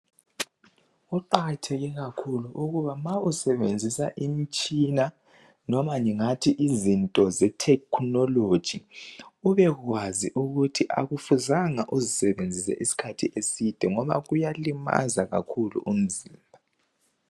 Kuqakatheke kakhulu ukuba usebenzisa imitshina. Loba ngingathi izinto zetechnology. Ubekwazi ukuthi kakumelanga uzisebenzise isikhathi eside ngoba kuyalimaza kakhulu umzimba.